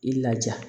I laja